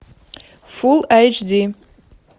фулл айч ди